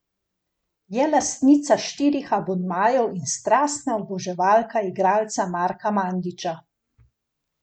Je lastnica štirih abonmajev in strastna oboževalka igralca Marka Mandića.